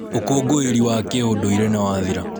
ũkũngũĩri wa kĩũndũire nĩwathira.